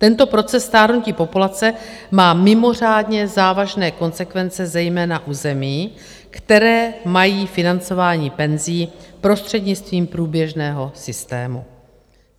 Tento proces stárnutí populace má mimořádně závažné konsekvence zejména u zemí, které mají financování penzí prostřednictvím průběžného systému.